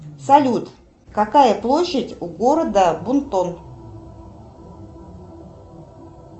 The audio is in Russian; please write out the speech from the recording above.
салют какая площадь у города бунтон